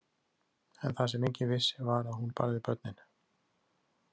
En það sem enginn vissi var að hún barði börnin.